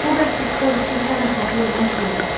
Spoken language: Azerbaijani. Bu məhbuslar üçün ən əzablı olan bu idi.